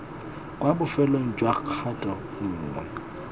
kwa bofelong jwa kgato nngwe